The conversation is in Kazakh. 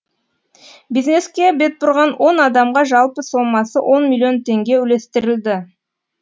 бизнеске бетбұрған но адамға жалпы соммасы он миллион теңге үлестірілді